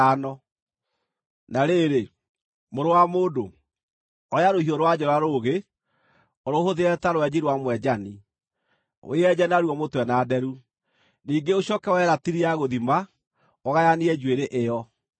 “Na rĩrĩ, mũrũ wa mũndũ, oya rũhiũ rwa njora rũũgĩ, ũrũhũthĩre ta rwenji rwa mwenjani, wĩyenje naruo mũtwe na nderu. Ningĩ ũcooke woe ratiri ya gũthima, ũgayanie njuĩrĩ ĩyo.